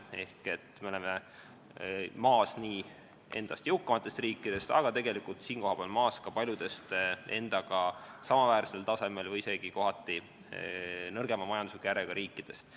Ehk me oleme maas nii endast jõukamatest riikidest kui tegelikult maas ka paljudest endaga samaväärsel tasemel olevatest või isegi kohati nõrgemal majanduslikul järjel olevatest riikidest.